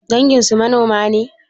Danginsu manoma ne?